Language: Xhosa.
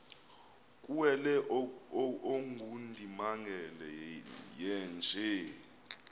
kuwele ongundimangele yeenje